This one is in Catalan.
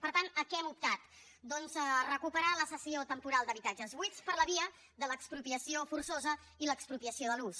per tant a què hem optat doncs a recuperar la cessió temporal d’habitatges buits per la via de l’expropiació forçosa i l’expropiació de l’ús